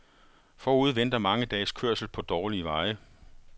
Forude venter mange dages kørsel på dårlige veje.